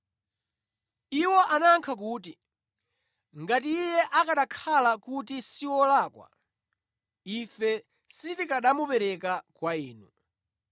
Iwo anayankha kuti, “Ngati Iye akanakhala kuti si wolakwa, ife sitikanamupereka kwa inu.”